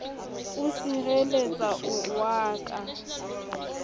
o sirelletsa o wa ka